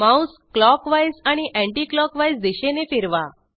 Mouse clockwise आणि anticlockwise दिशेने फिरवा